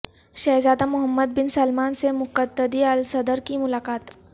شہزادہ Mohammed bin Salman سے Muqtada al Sadr کی ملاقات